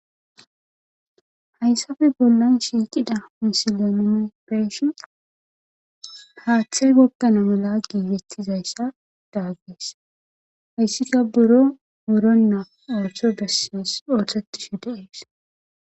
hayssafe bollan shiiqida misilanemebeeshi haaththay gokkana mula giigetizayssa daaggees hayssika buro buronna orto bessies ootetishe deees